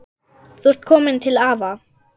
Þú ert komin til afa.